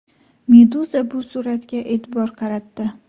Meduza bu suratga e’tibor qaratdi .